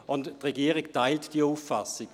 Die Regierung teilt diese Auffassung.